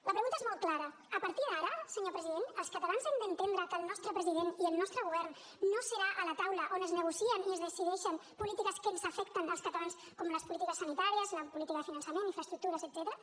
la pregunta és molt clara a partir d’ara senyor president els catalans hem d’entendre que el nostre president i el nostre govern no seran a la taula on es negocien i es decideixen polítiques que ens afecten als catalans com les polítiques sanitàries la política de finançament infraestructures etcètera